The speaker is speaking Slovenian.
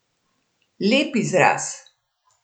Lep izraz.